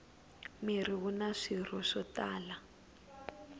mirhi wuna swirho swo tala